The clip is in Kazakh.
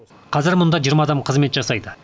қазір мұнда жиырма адам қызмет жасайды